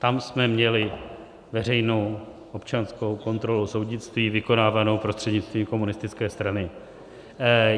Tam jsme měli veřejnou občanskou kontrolu soudnictví vykonávanou prostřednictvím komunistické strany.